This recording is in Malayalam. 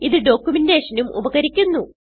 ഇത് ഡോക്യുമെന്റേഷൻ ഉം ഉപകരിക്കുന്നു